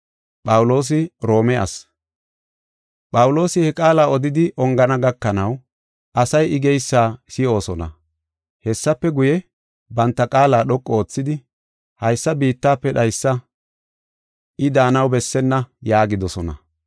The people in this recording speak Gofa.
Phawuloosi he qaala odidi ongana gakanaw asay I geysa si7oosona. Hessafe guye, banta qaala dhoqu oothidi, “Haysa biittafe dhaysa! I daanaw bessenna” yaagidosona.